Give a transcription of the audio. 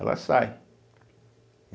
Ela sai.